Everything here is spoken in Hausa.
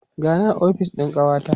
gani a ofis ɗin kawata